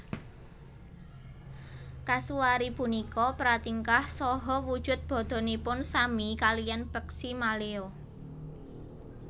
Kasuari punika pratingkah saha wujud badanipun sami kaliyan peksi maleo